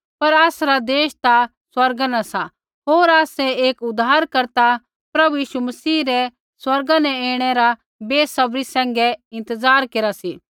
पर आसरा देश ता स्वर्गा न सा होर आसै एक उद्धारकर्ता प्रभु यीशु मसीह रै स्वर्गा न ऐणै रा बेसब्री सैंघै इंतज़ार केरा सी